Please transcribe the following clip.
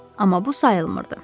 Amma bu sayılmırdı.